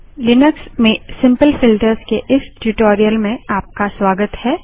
Linux में simple filters के इस ट्यूटोरियल में आपका स्वागत है